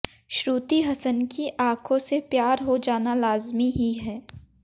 श्रुति हसन की आँखों से प्यार हो जाना लाजमी ही है